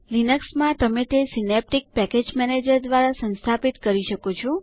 Linux માં તમે તે સીનેપ્તિક પેકેજ મેનેજર દ્વારા સંસ્થાપિત કરી શકો છો